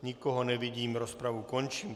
Nikoho nevidím, rozpravu končím.